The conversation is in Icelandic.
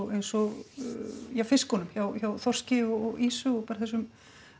eins og fiskunum hjá þorski og ýsu og bara þessum